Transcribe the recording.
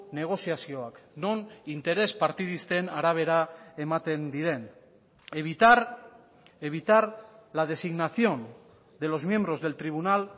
negoziazioak non interes partidisten arabera ematen diren evitar evitar la designación de los miembros del tribunal